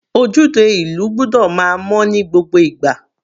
Ojúde ìlú gbọ́dọ̀ máa mọ́ ní gbogbo ìgbà.